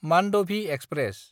मान्दभि express